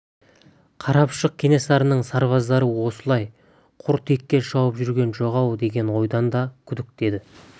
қарапұшық кенесарының сарбаздары осылай құр текке шауып жүрген жоқ-ау деген ойдан да күдікті еді